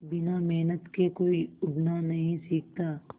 बिना मेहनत के कोई उड़ना नहीं सीखता